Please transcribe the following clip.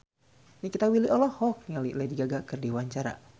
Nikita Willy olohok ningali Lady Gaga keur diwawancara